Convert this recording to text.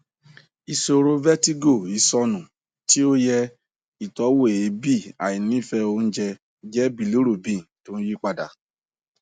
ìṣòro vertigo isonu ti oye itowoeebi àìnífẹ oúnjẹ jẹ bilirubin tó ń yí padà